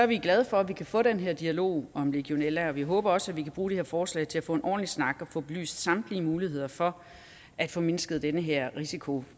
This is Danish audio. vi glade for at vi kan få den her dialog om legionella og vi håber også at vi kan bruge det her forslag til at få en ordentlig snak og få belyst samtlige muligheder for at få mindsket den her risiko